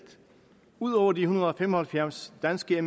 ud over de en hundrede og fem og halvfjerds danske